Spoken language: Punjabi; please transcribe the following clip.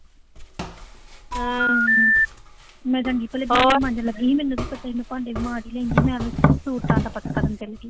ਮੇਰਾ ਜੀਅ ਪਹਿਲਾਂ ਭਾਂਡੇ ਮਾਂਜਣ ਦਾ ਸੀ, ਭਾਂਡੇ ਮਾਂਜ ਲੈਂਦੀ ਮੈਂ ਅਬਦੇ, ਦਾ ਪਤਾ ਕਰਨ ਚਲੀ ਗਈ।